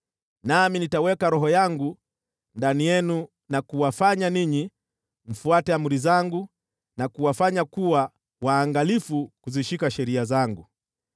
Nami nitaweka Roho yangu ndani yenu na kuwafanya ninyi mfuate amri zangu na kuwafanya kuwa waangalifu kuzishika sheria zangu.